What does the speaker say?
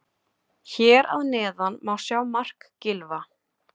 Hér að neðan má sjá mark Gylfa.